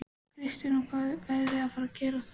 Kristín: Og hvað er verið að fara að gera þar?